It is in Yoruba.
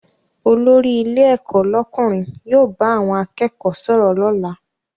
Olórí ilé ẹ̀kọ́ lọ́kùnrin yóò bá àwọn akẹ́kọ̀ọ́ sọ̀rọ̀ lọ́la